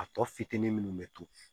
A tɔ fitinin minnu bɛ to